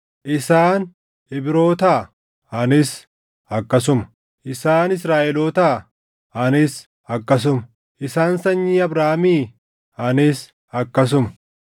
Isaan Ibrootaa? Anis akkasuma. Isaan Israaʼelootaa? Anis akkasuma. Isaan sanyii Abrahaamii? Anis akkasuma.